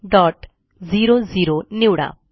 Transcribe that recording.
123400 निवडा